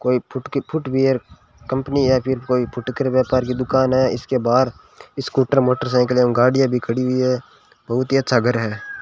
कोई फुट की footwear company या फिर कोई फुटकर व्यापार की दुकान है इसके बाहर स्कूटर मोटरसाइकिल एवं गाड़ियां भी खड़ी हुई है बहुत ही अच्छा घर है।